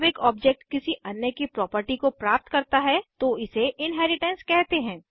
जब एक ऑब्जेक्ट किसी अन्य की प्रॉपर्टी को प्राप्त करता है तो इसे इनहेरिटेंस कहते हैं